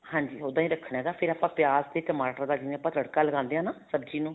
ਹਾਂਜੀ ਉੱਦਾਂ ਹੀ ਰੱਖਣਾ ਹੈਗਾ ਆਪਾਂ ਫ਼ੇਰ ਪਿਆਜ ਤੇ ਟਮਾਟਰ ਦਾ ਜਿਵੇਂ ਆਪਾਂ ਤੜਕਾ ਲਗਾਦੇ ਹਾਂ ਸਬਜ਼ੀ ਨੂੰ